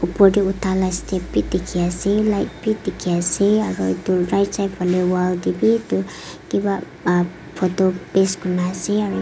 opor te utha laga step bhi dekhi ase light bhi dekhi ase aru etu right side phale wall te bhi kiba photo paste kori kina ase aru--